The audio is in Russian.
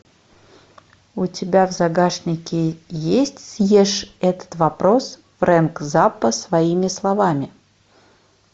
у тебя в загашнике есть съешь этот вопрос фрэнк заппа своими словами